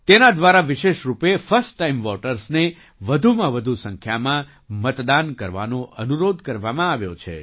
તેના દ્વારા વિશેષ રૂપે ફર્સ્ટ ટાઇમ વૉટર્સને વધુમાં વધુ સંખ્યામાં મતદાન કરવાનો અનુરોધ કરવામાં આવ્યો છે